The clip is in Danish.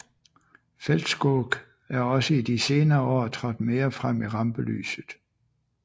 Fältskog er også i de senere år trådt mere frem i rampelyset